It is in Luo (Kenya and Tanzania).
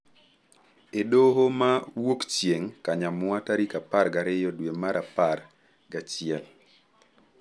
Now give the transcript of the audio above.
e Doho ma Wuokchieng’, Kanyamwa tarik apar gariyo dwe mar apar gi achiel.